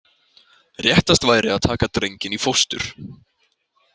Réttast væri að taka drenginn í fóstur.